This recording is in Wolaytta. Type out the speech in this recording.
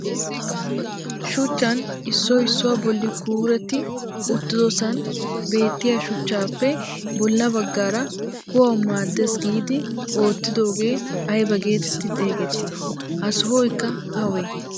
Shuchchaan issoy issuwaa bolli kuuretti uttidosan beettiyaa shuchchaappe bolla baggaara kuwawu maaddees giidi oottiidogee ayba geetetti xeegettii? Ha sohoykka awee?